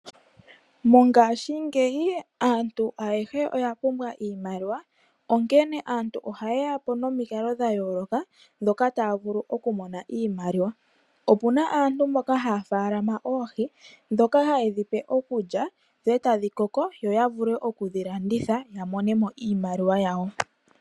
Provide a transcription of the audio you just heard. Mongashingeyi aantu ayehe oya pumbwa iimaliwa onkee, aantu ohay yeyapo nomikalo dha yooloka moka taya vulu oku mona iimaliwa. Opuna aantu mboka haya faalama oohi, dhoka ha yedhi pe iikulya, dho tadhi koko, yo ya vule okudhi landitha ya monemo iimaliwa yawo.